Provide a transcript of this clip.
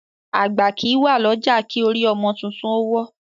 Àgbà kí wá ni ọjà, ki orí ọmọ títún o wọ.